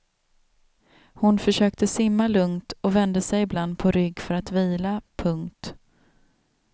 Hon försökte simma lugnt och vände sig ibland på rygg för att vila. punkt